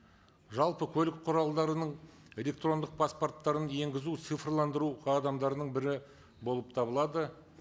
жалпы көлік құралдарының электрондық паспорттарын енгізу цифрландыру қадамдарының бірі болып табылады